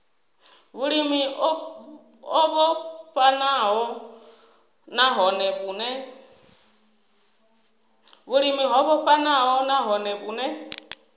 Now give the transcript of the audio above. vhulimi o vhofhanaho nahone vhune